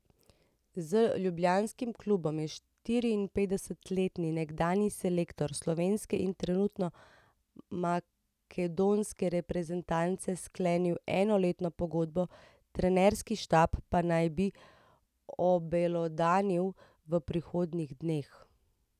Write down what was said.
Z ljubljanskim klubom je štiriinpetdesetletni nekdanji selektor slovenske in trenutno makedonske reprezentance sklenil enoletno pogodbo, trenerski štab pa naj bi obelodanil v prihodnjih dneh.